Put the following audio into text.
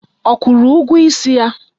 Ọ kwụrụ ụgwọ isi ya?